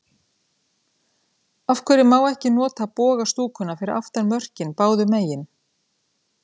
Af hverju má ekki nota boga stúkuna fyrir aftan mörkin báðu megin?